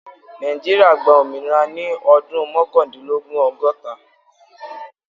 Nàìjíríà gba ominira ni ọdun mọkandinlogun- ọgọta.